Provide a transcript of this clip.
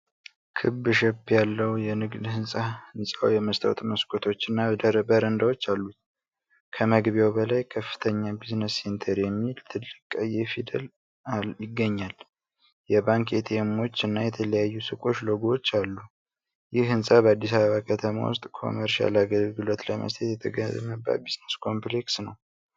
ክብ ሼፕ ያለው የንግድ ሕንጻ ሕንፃው የመስታወት መስኮቶችና በረንዳዎች አሉት። ከመግቢያው በላይ "ከፍተኛ ቢዝነስሴንተር"የሚል ትልቅ ቀይ ፊደል ይገኛል። የባንክ ኤቲኤሞች እና የተለያዩ ሱቆች ሎጎዎች አሉ። ይህ ሕንፃ በአዲስ አበባ ከተማ ውስጥ ኮመርሻል አገልግሎት ለመስጠት የተገነባ ቢዝነስ ኮምፕሌክስ ነው?